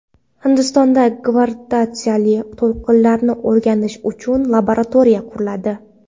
Hindistonda gravitatsiyali to‘lqinlarni o‘rganish uchun laboratoriya quriladi .